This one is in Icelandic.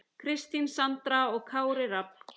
Kristín Sandra og Kári Rafn.